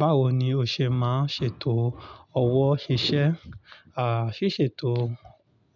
Báwo ni o ṣe máa ṣe ètò owo iṣẹ́? À, ṣíṣe ètò